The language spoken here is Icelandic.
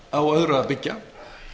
á öðru að byggja